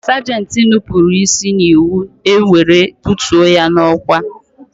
Sagenti nupụrụ isi n'iwu, e were bụtuo ya n'ọkwá